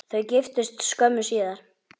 Þau giftust skömmu síðar.